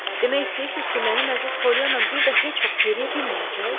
Demək istəyirsiniz ki, mənim əziz Pollyana bir də heç vaxt yeriyə bilməyəcək?